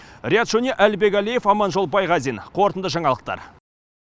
риат шони әлібек әлиев аманжол байғазин қорытынды жаңалықтар